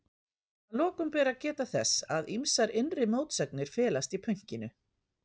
Að lokum ber að geta þess að ýmsar innri mótsagnir felast í pönkinu.